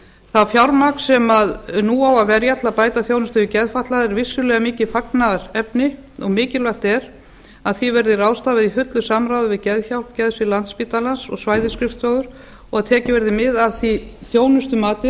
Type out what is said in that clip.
það fjármagn sem nú á að verja til að bæta þjónustu við geðfatlaða er vissulega mikið fagnaðarefni og mikilvægt er að því verð ráðstafað í fullu samráði við geðhjálp geðdeild landspítalans og svæðisskrifstofur og tekið verði mið af því þjónustumati